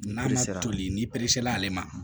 N'a bɛ se ka toli n'i la ale ma